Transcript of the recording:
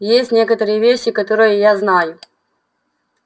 есть некоторые вещи которые я знаю